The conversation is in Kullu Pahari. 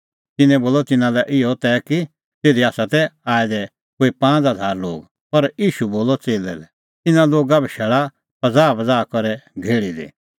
तिन्नैं बोलअ तिन्नां लै इहअ तै कि तिधी तै आऐ दै कोई पांज़ हज़ार लोग पर ईशू बोलअ च़ेल्लै लै इना लोगा बशैल़ा पज़ाहपज़ाह करै घेहल़ी दी